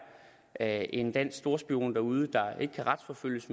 er en dansk storspion derude der ikke kan retsforfølges